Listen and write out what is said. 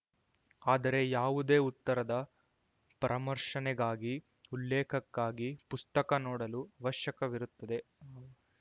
ಆದರೆ ಯಾವುದೇ ಉತ್ತರದ ಪರಾಮರ್ಶನೆಗಾಗಿ ಉಲ್ಲೇಖಕ್ಕಾಗಿ ಪುಸ್ತಕ ನೋಡಲು ವಶ್ಯಕವಿರುತ್ತದೆ